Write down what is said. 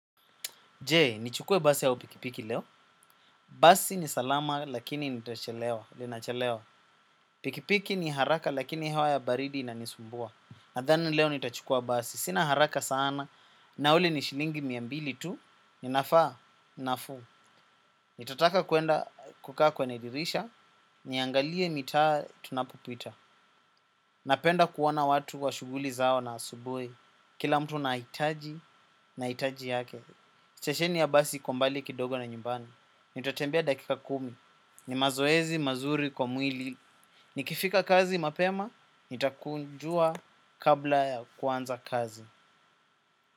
Je, nichukue basi au pikipiki leo? Basi ni salama lakini nitachelewa, linachelewa. Pikipiki ni haraka lakini hewa ya baridi inanisumbua. Nadhani leo nitachukua basi. Sina haraka sana na ule ni shilingi mia mbili tu, ninafaa, nafuu. Nitataka kuenda kukaa kwenye dirisha, niangalie mitaa tunapopita. Napenda kuona watu wa shughuli zao na asubuhi. Kila mtu nahitaji, nahitaji yake. Stesheni ya basi iko mbali kidogo na nyumbani. Nitatembea dakika kumi. Ni mazoezi mazuri kwa mwili. Nikifika kazi mapema, nitakunjua kabla ya kuanza kazi.